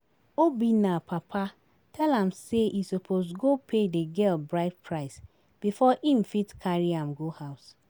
Obinna papa tell am say e suppose go pay the girl bride price before im fit carry am go house